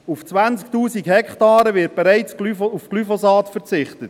Auf 20 000 Hektaren wird bereits auf Glyphosat verzichtet.